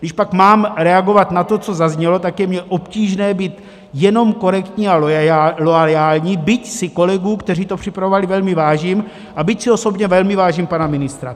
Když pak mám reagovat na to, co zaznělo, tak je mi obtížné být jenom korektní a loajální, byť si kolegů, kteří to připravovali, velmi vážím a byť si osobně velmi vážím pana ministra.